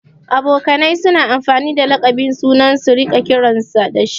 Abokanai suna amfani da laƙabin mutum su riƙa kiransa dashi